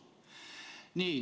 " Nii.